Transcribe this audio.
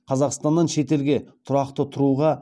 қазақстаннан шетелге тұрақты тұруға